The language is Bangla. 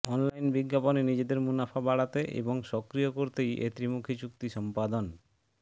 অনলাইন বিজ্ঞাপনে নিজেদের মুনাফা বাড়াতে এবং সক্রিয় করতেই এ ত্রিমুখী চুক্তি সম্পাদন